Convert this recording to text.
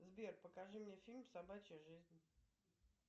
сбер покажи мне фильм собачья жизнь